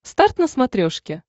старт на смотрешке